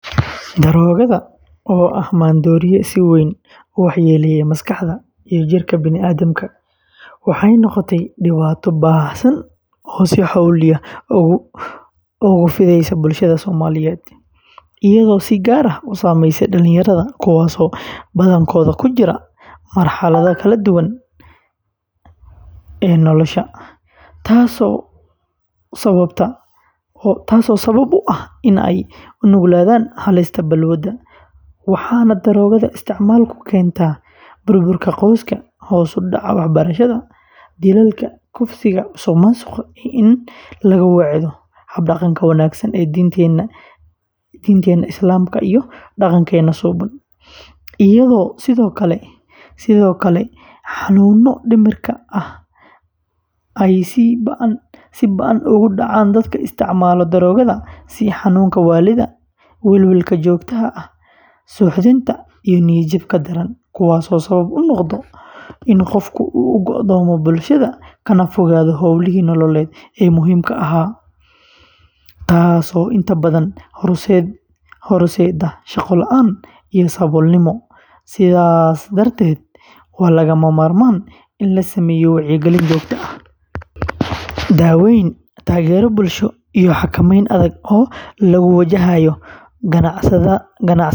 Daroogada, oo ah maandooriye si weyn u waxyeeleeya maskaxda iyo jidhka bani’aadamka, waxay noqotay dhibaato baahsan oo si xawli ah ugu fidaysa bulshada Soomaaliyeed, iyadoo si gaar ah u saameysay dhalinyarada kuwaasoo badankood ku jira marxaladda kala guurka nolosha, taas oo sabab u ah in ay u nuglaadaan halista balwadda, waxaana daroogada isticmaalku keentaa burburka qoysaska, hoos u dhaca waxbarashada, dilalka, kufsiga, musuqmaasuqa iyo in laga weecdo hab-dhaqanka wanaagsan ee diinteenna Islaamka iyo dhaqankeena suuban, iyadoo sidoo kale xanuunno dhimirka ah ay si ba'an ugu dhacaan dadka isticmaala daroogada sida xanuunka waallida, welwelka joogtada ah, suuxdinta iyo niyad-jabka daran, kuwaasoo sabab u noqda in qofka uu go'doomo bulshada kana fogaado howlihii nololeed ee muhiimka u ahaa, taasoo inta badan horseedda shaqo la’aan iyo saboolnimo, sidaas darteed waa lagama maarmaan in la sameeyo wacyigelin joogto ah, daaweyn, taageero bulsho, iyo xakameyn adag oo lagu wajahayo ganacsatada.